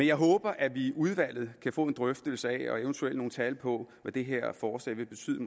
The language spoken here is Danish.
jeg håber at vi i udvalget kan få en drøftelse af og eventuelt nogle tal på hvad det her forslag vil betyde